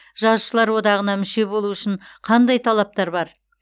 жазушылар одағына мүше болу үшін қандай талаптар бар